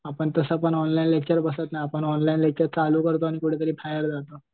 आपण तसं पण ऑनलाईन लेक्चर बसत नाही आपण ऑनलाईन लेक्चर चालू करतो आणि कुठेतरी बाहेर जातो.